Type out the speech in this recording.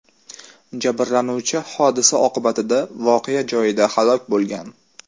Jabrlanuvchi hodisa oqibatida voqea joyida halok bo‘lgan.